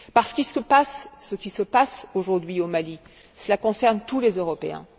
Parce que ce qui se passe aujourd'hui au Mali, cela concerne tous les Européens.